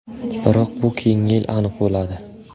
Biroq bu keyingi yil aniq bo‘ladi.